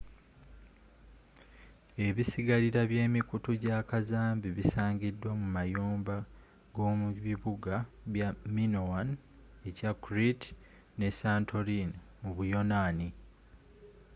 ebisigalira bye mikutu gya kazambi bisangidwa mu mayumba g'omu bibuga bya minoan ekya crete ne santorin mu buyonaani